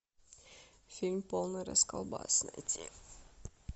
фильм полный расколбас найти